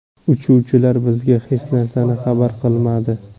Uchuvchilar bizga hech narsani xabar qilmadi.